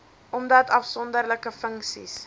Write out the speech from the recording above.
omdat afsonderlike funksies